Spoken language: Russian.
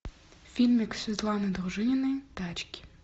фильмик светланы дружининой тачки